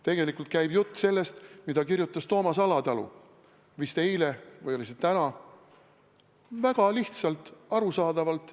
Tegelikult käib jutt sellest, mida kirjutas Toomas Alatalu vist eile või täna väga lihtsalt ja arusaadavalt.